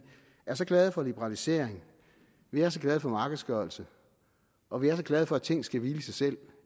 er så glade for liberalisering vi er så glade for markedsgørelse og vi er så glade for at ting skal hvile i sig selv